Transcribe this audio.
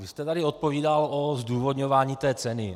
Vy jste tady odpovídal o zdůvodňování té ceny.